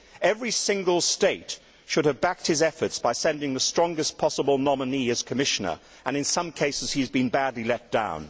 Every single Member State should have backed his efforts by sending the strongest possible nominee as Commissioner, and in some cases, he has been badly let down.